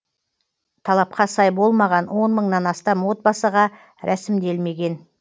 талапқа сай болмаған он мыңнан астам отбасыға рәсімделмеген